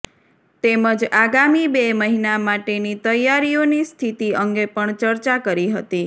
તેમજ આગામી બે મહિના માટેની તૈયારીઓની સ્થિતિ અંગે પણ ચર્ચા કરી હતી